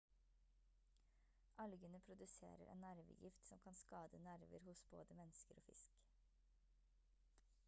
algene produserer en nervegift som kan skade nerver hos både mennesker og fisk